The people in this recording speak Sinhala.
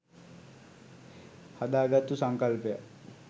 හදාගත්තු සංකල්පයක්.